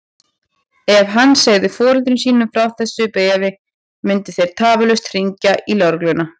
Ef hann segði foreldrum sínum frá þessu bréfi myndu þeir tafarlaust hringja í lögregluna.